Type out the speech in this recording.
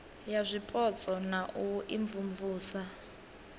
ya zwipotso na u imvumvusa